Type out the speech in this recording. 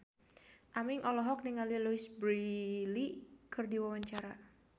Aming olohok ningali Louise Brealey keur diwawancara